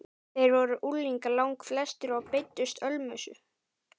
Þeir voru unglingar langflestir og beiddust ölmusu.